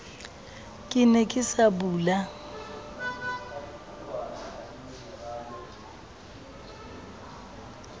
ke ne ke sa bula